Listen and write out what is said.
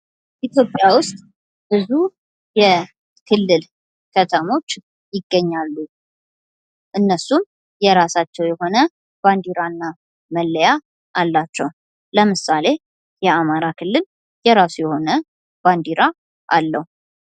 ኢትዮጵያ ውስጥ ብዙ የክልል ከተሞች ይገኛሉ። እነሱም የራሳቸው የሆነ ባንዲራና መለያ ኣላቸው። ለምሳሌ የአማራ ክልል የራሱ የሆነ ባንዲራ አለው።